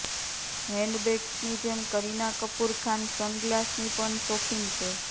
હેન્ડબેગ્સની જેમ કરીના કપૂર ખાન સનગ્લાસની પણ શોખીન છે